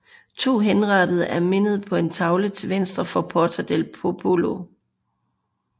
To henrettede er mindet på en tavle til venstre for Porta del Popolo